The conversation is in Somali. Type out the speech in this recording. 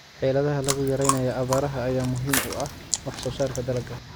Xeeladaha lagu yareynayo abaaraha ayaa muhiim u ah wax soo saarka dalagga.